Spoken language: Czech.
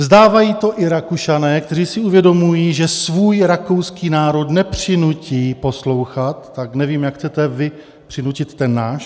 Vzdávají to i Rakušané, kteří si uvědomují, že svůj rakouský národ nepřinutí poslouchat, tak nevím, jak chcete vy přinutit ten náš.